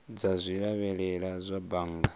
dza zwi lavhelela kha bannga